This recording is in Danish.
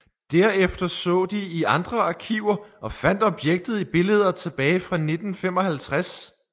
Derefter så de i andre arkiver og fandt objektet i billeder tilbage fra 1955